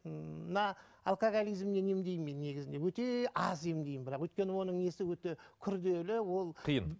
ммм мына алкоголизмнен емдеймін мен негізінде өте аз емдеймін бірақ өйткені оның несі өте күрделі ол қиын